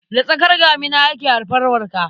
Da tsakar damina ake haifar Marka.